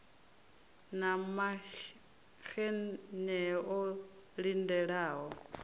na maxenn e o lindelaho